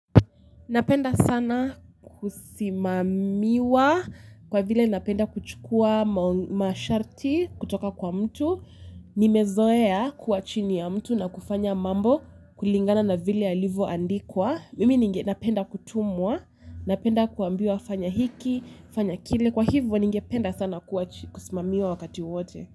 Napenda sana kusimamiwa kwa vile napenda kuchukua masharti kutoka kwa mtu. Nimezoea kuwa chini ya mtu na kufanya mambo kulingana na vile yalivo andikwa mimi ninge napenda kutumwa, napenda kuambiwa fanya hiki, fanya kile kwa hivyo ninge penda sana kusimamiwa wakati wote.